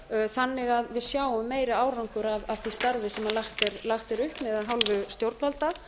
þannig að við sjáum meiri árangur af því starfi sem lagt er upp með af hálfu stjórnvalda